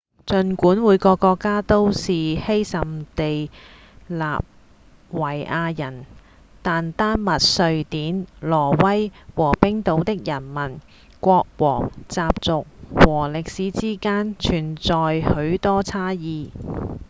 儘管每個國家都是「斯堪地納維亞人」但丹麥、瑞典、挪威和冰島的人民、國王、習俗和歷史之間存在許多差異